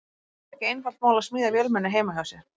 Það er ekki einfalt mál að smíða vélmenni heima hjá sér.